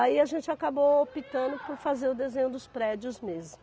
Aí a gente acabou optando por fazer o desenho dos prédios mesmo.